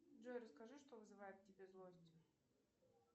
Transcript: джой расскажи что вызывает в тебе злость